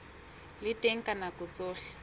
le teng ka nako tsohle